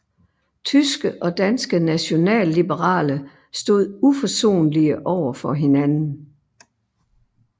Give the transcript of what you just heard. Tyske og danske nationalliberale stod uforsonlige over for hinanden